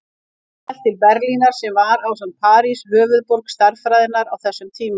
Hann hélt til Berlínar sem var, ásamt París, höfuðborg stærðfræðinnar á þessum tíma.